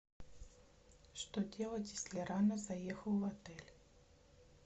что делать если рано заехал в отель